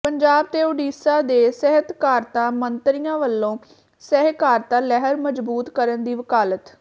ਪੰਜਾਬ ਤੇ ਉਡੀਸ਼ਾ ਦੇ ਸਹਿਕਾਰਤਾ ਮੰਤਰੀਆਂ ਵਲੋਂ ਸਹਿਕਾਰਤਾ ਲਹਿਰ ਮਜ਼ਬੂਤ ਕਰਨ ਦੀ ਵਕਾਲਤ